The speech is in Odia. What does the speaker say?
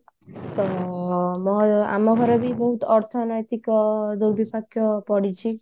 ତ ମୋ ଆମ ଗହରେ ବି ବହୁତ ଅର୍ଥନୈତିକ ଦୁର୍ଭିପକ୍ଷ ପଡିଛି